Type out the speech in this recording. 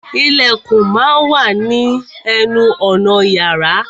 Ìlẹ̀kùn má a wà ní ní ẹnu ọ̀nà yàrá.